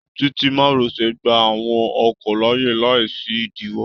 Títí márosẹ̀ gbà àwọn ọkọ̀ láàyè láì sí idiwọ.